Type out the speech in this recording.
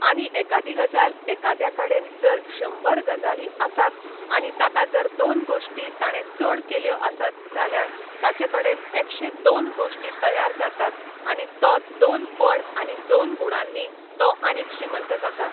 आनी एकादी गजाल एकाद्या कडेन जर शंबर गजाली आसात आनी ताका जर दोन गोश्टी ताणें चड केल्यो आसत जाल्यार ताचे कडेन एकशें दोन गोश्टी तयार जातात आनी तो दोन पड आनी दोन गुणांनी तो आनीक श्रीमंत जाता